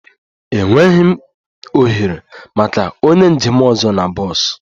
Enweghị ohere maka onye njem ọzọ na bọs